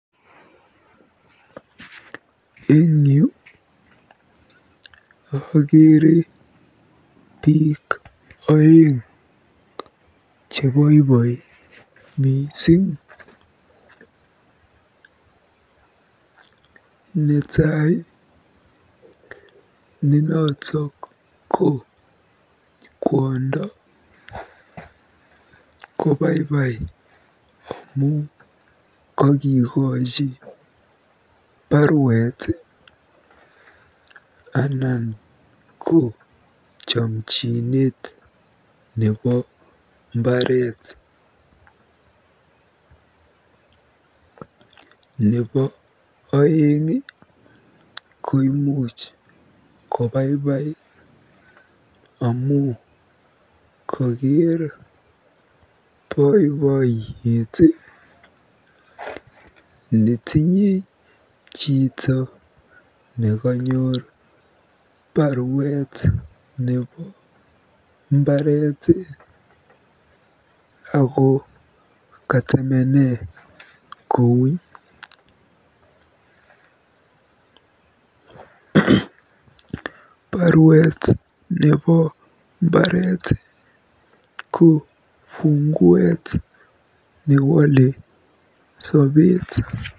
Eng yu akeere biik oeng cheboiboi mising. Netai ne notok ko kwondo kobaibai amu kokikochi baruet anan ko chomchinet nebo mbaret. Nebo oeng ko imuch kobaibai amu koker boiboiyet netinye chito nekanyor baruet nebo mbaret ako katemene kouny. Baruet nebo mbaret ko funguet newole sobeet.